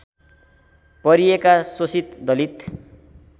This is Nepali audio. परिएका शोषित दलित